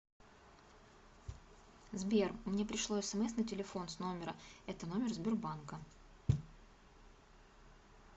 сбер мне пришло смс на телефон с номера это номер сбербанка